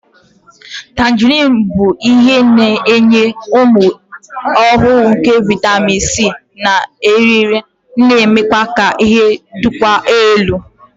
Tangerines bụ isi iyi na-enye ume ọhụrụ nke vitamin C na eriri, na-eme ka ike dịkwuo elu.